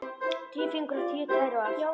Tíu fingur og tíu tær og allt.